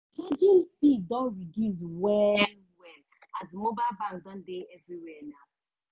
charging fee don reduce well-well as mobile bank don dey everywhere now.